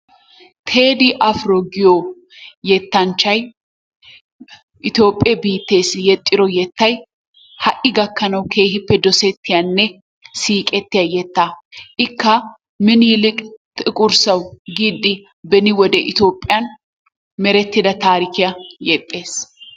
Teedii Afiro giyo yetanchchay Itoophphiyee biitteessi yexxido yettay ha'i gakkanawu keeehippe dosettiyanne siiqettiya yetaa ikka miniliki tiqur sewu giidi beni wode Itoophiyan meretida taarikkiya yexxees.